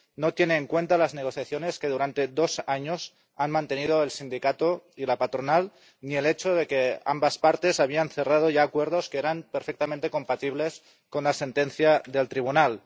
No tiene en cuenta las negociaciones que, durante dos años, han mantenido el sindicato y la patronal ni el hecho de que ambas partes habían cerrado ya acuerdos que eran perfectamente compatibles con la sentencia del Tribunal.